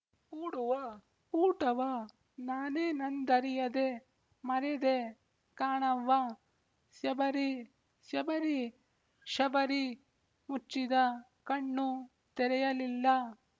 ಕೂಡುವ ಕೂಟವ ನಾನೇನಂದರಿಯದೆ ಮರೆದೆ ಕಾಣವ್ವಸ್ಯಬರಿ ಸ್ಯಬರಿ ಶಬರಿ ಮುಚ್ಚಿದ ಕಣ್ಣು ತೆರೆಯಲಿಲ್ಲ